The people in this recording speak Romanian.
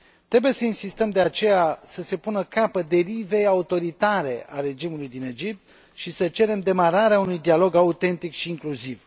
Trebuie să insistăm, de aceea, să se pună capăt derivei autoritare a regimului din Egipt și să cerem demararea unui dialog autentic și incluziv.